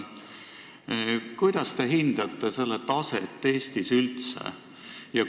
Kuidas te hindate selle taset Eestis üldse?